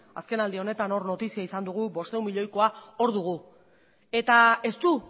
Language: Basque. azkenaldi honetan hor notizia izan dugu bostehun milioikoa hor dugu eta ez du